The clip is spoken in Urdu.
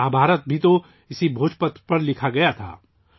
بھوج پتر پر مہابھارت بھی لکھی گئی تھی